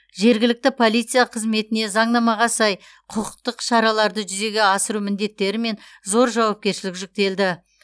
жергілікті полиция қызметіне заңнамаға сай құқықтық шараларды жүзеге асыру міндеттері мен зор жауапкершілік жүктелді